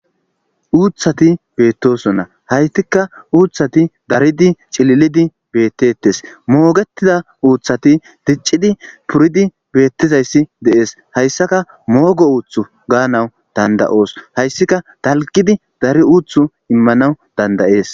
uuthati beettosona haytika uuthati daridi cililidi beettettes moogettida uuthati diccidi puridi beettizayssi de'ees hayssaka moogo uuthu gaanawu danda'oos hayssika dalgidi dari uuthu immanaw danda'ees